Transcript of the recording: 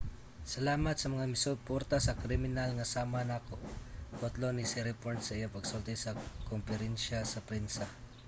"salamat sa mga misuporta sa kriminal nga sama nako, kutlo ni siriporn sa iyang pagsulti sa komperensiya sa prensa